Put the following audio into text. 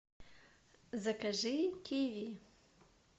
закажи киви